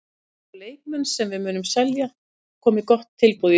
Það eru leikmenn sem við munum selja komi gott tilboð í þá.